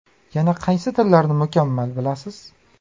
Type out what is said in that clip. Yana qaysi tillarni mukammal bilasiz?